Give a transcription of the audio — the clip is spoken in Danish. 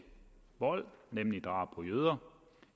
vold nemlig drab på jøder